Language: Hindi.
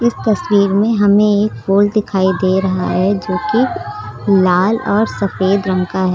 तस्वीर में हमें एक फूल दिखाई दे रहा है जो कि लाल और सफेद रंग का है।